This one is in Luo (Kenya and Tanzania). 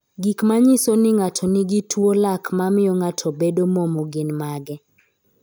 Gik manyiso ni ng'ato nigi tuwo lak mamio ng'ato bedo momo gin mage?